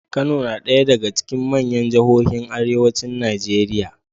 Kano na ɗaya daga cikin manyan jihohin arewacin Najeriya.